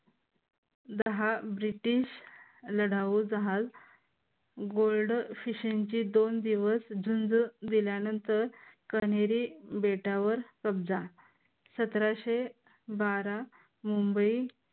दहा ब्रिटिश लढाऊ जहाज गुड फिश यांची दोन दिवस झुंज दिल्यानंतर कनेरी बेटावर कब्जा सतराशे बारा मुंबई